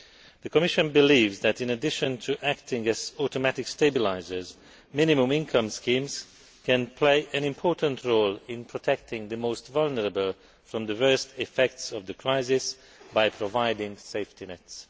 The Commission believes that, in addition to acting as automatic stabilisers, minimum income schemes can play an important role in protecting the most vulnerable from the worst effects of the crisis by providing safety nets.